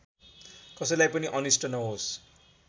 कसैलाई पनि अनिष्ट नहोस्